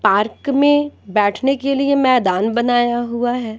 Park में बैठने के लिए मैदान बनाया हुआ है।